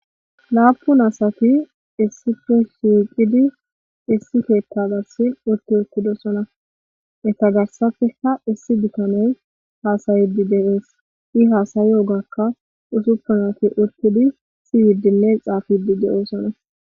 Laapun asati issipo shiiqidi issi keetta gassin utti utidosona eta garsapeka issi bikanoy haasayedi deees i haasayi ogakka usuppunati utidi si yidinne xaapidi de'oosona.